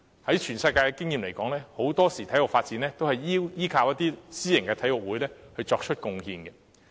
以全球的經驗而言，很多時候體育發展皆依靠私營體育會作出貢獻。